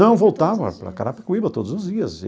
Não, voltava para Carapicuíba todos os dias.